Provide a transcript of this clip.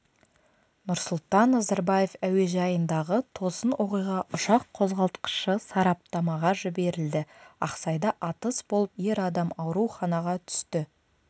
нұрсұлтан назарбаев әуежайындағы тосын оқиға ұшақ қозғалтқышы сараптамаға жіберілді ақсайда атыс болып ер адам ауруханаға түсті